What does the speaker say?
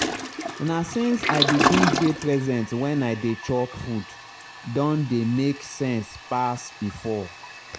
na since i begin dey present when i dey chop food don dey make sense pass before.